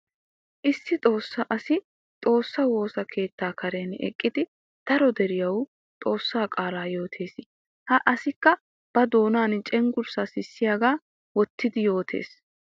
Issi xoossa asi xoossa woosa keetta karen eqqidi daro deriyawu xoossa qaala yootes. Ha asikka ba doonan cenggurssa sissiyaga wottidi yootes.